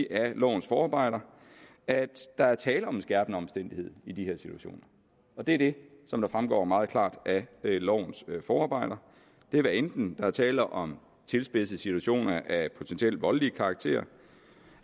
af lovens forarbejder at der er tale om en skærpende omstændighed i de her situationer det er det som fremgår meget klart af lovens forarbejder hvad enten der er tale om tilspidsede situationer af potentielt voldelig karakter